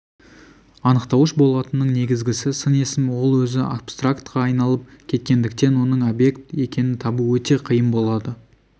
анықтауыш болатынның негізгісі сын есім ол өзі абстрактқа айналып кеткендіктен оның объект екенін табу өте қиын болады